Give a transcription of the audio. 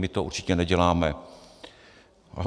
My to určitě neděláme.